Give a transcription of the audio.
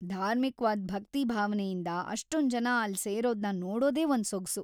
ಧಾರ್ಮಿಕ್ವಾದ್ ಭಕ್ತಿ ಭಾವನೆಯಿಂದ ಅಷ್ಟೊಂದ್‌ ಜನ ಅಲ್ಲ್‌ ಸೇರೋದ್ನ ನೋಡೋದೇ ಒಂದ್‌ ಸೊಗ್ಸು.